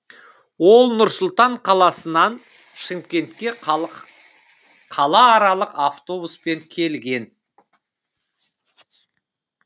ол нұр сұлтан қаласынан шымкентке қала аралық автобуспен келген